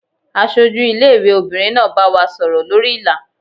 Aṣojú ilé ìwé obìnrin náà bá wa sọ̀rọ̀ lórí Ìlà.